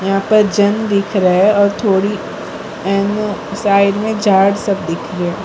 यहा पर जन दिख रहे है और थोड़ी एम साइड में झाड़ सब दिख रहे --